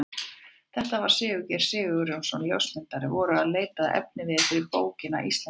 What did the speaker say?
Þetta var þegar við Sigurgeir Sigurjónsson ljósmyndari vorum að leita að efniviði fyrir bókina Íslendingar.